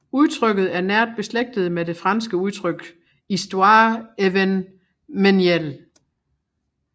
Udtrykket er nært beslægtet med det franske udtryk histoire événementielle